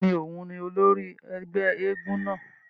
Bẹ́ẹ̀ni, oùn ni ólòri ẹgbẹ èègún náa